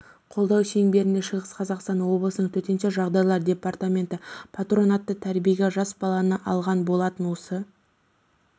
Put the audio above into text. қолдау шеңберінде шығыс қазақстан облысының төтенше жағдайлар департаменті патронатты тәрбиеге жас баланы алған болатын осы